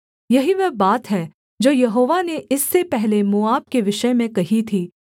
यही वह बात है जो यहोवा ने इससे पहले मोआब के विषय में कही थी